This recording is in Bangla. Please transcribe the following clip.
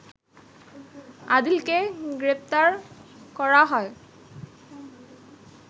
আদিলকে গ্রেপ্তার করা হয়